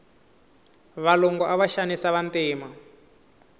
valungu ava xanisa vantima